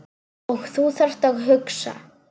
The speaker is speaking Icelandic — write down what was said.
Og þú þarft að hugsa.